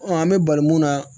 Ɔn an be bali mun na